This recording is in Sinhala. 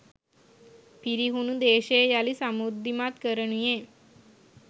පිරිහුණු දේශය යළි සමෘද්ධිමත් කරනුයේ